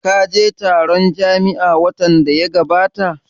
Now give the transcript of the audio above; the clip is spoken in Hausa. Ka je taron jam'iya watan da ya gabata?